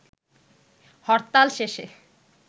হরতাল শেষে